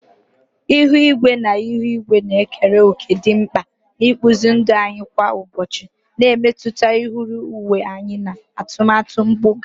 Ihu igwe na ihu igwe na-ekere òkè dị mkpa n'ịkpụzi ndụ anyị kwa ụbọchị, na-emetụta nhọrọ uwe anyị na atụmatụ mpụga.